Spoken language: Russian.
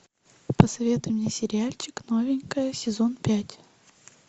посоветуй мне сериальчик новенькая сезон пять